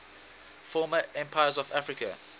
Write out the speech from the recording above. former empires of africa